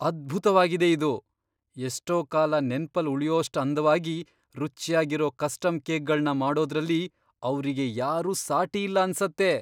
ಅದ್ಭುತ್ವಾಗಿದೆ ಇದು! ಎಷ್ಟೋ ಕಾಲ ನೆನ್ಪಲ್ ಉಳ್ಯೋಷ್ಟು ಅಂದ್ವಾಗಿ, ರುಚ್ಯಾಗಿರೋ ಕಸ್ಟಮ್ ಕೇಕ್ಗಳ್ನ ಮಾಡೋದ್ರಲ್ಲಿ ಅವ್ರಿಗೆ ಯಾರೂ ಸಾಟಿ ಇಲ್ಲ ಅನ್ಸತ್ತೆ!